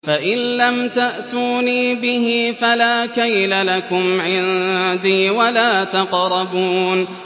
فَإِن لَّمْ تَأْتُونِي بِهِ فَلَا كَيْلَ لَكُمْ عِندِي وَلَا تَقْرَبُونِ